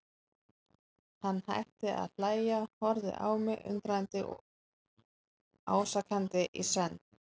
Hann hætti að hlæja, horfði á mig undrandi og ásakandi í senn.